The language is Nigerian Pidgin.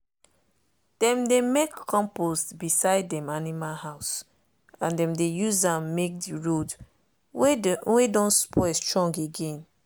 dem dey make compost beside dem animal house and dem dey use am make the road wey don spoil strong again.